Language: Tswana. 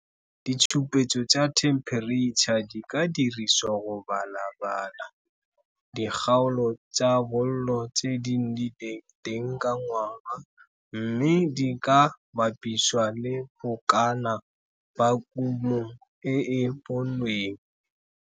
Ditshupetso tsa thempereitšha di ka dirisiwa go balabala dikgaolo tsa bollo tse di nnileng teng ka ngwaga mme di ka bapisiwa le bokana ba kumo e e bonweng.